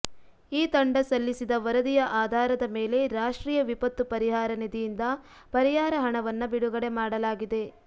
ಈ ತಂಡ ಸಲ್ಲಿಸಿದ ವರದಿಯ ಆಧಾರದ ಮೇಲೆ ರಾಷ್ಟ್ರೀಯ ವಿಪತ್ತು ಪರಿಹಾರ ನಿಧಿಯಿಂದ ಪರಿಹಾರ ಹಣವನ್ನ ಬಿಡುಗಡೆ ಮಾಡಲಾಗಿದೆ